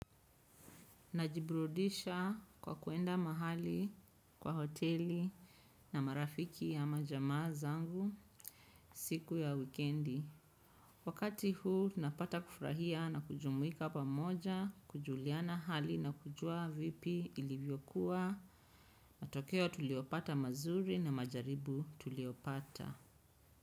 Najiburudisha kwa kuenda mahali kwa hoteli na marafiki au jamaa zangu siki ya wikendi. Wakati huu napata kufurahia na kujumuika pamoja kujuliana hali na kujua vipi ilivyokuwa matokeo tuliopata mazuri na majaribu tuliopata.